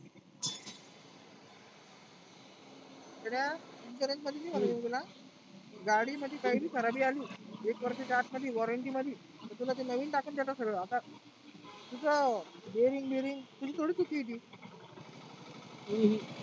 येड्या insurance मध्ये नाही म्हणत मी तुला. गाडी मध्ये काही पण खराबी आली एक वर्षाच्या आतमध्ये warranty मध्ये मग ते नविन टाकून देता ते सगळ. आता तुझ bearing वेरींग तुझी थोडी चुकी आहे ती. हम्म